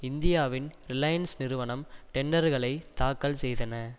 இந்தியாவின் ரிலையன்ஸ் நிறுவனம் டெண்டர்களை தாக்கல் செய்தன